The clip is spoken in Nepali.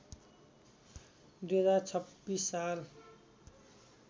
२०२६ साल